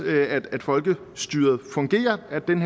at folkestyret fungerer at den